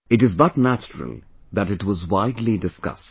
It is but natural that it was widely discussed